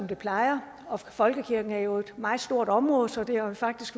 plejer og folkekirken er jo et meget stort område så det har faktisk